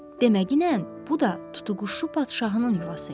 Demə ki, bu da tutuquşu padşahının yuvası imiş.